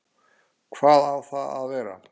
Hvar á það að vera?